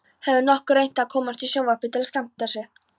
Hefurðu nokkuð reynt að komast í sjónvarpið til að skemmta?